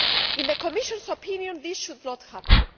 In the Commission's opinion, this should not happen.